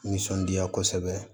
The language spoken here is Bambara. Nisɔndiya kosɛbɛ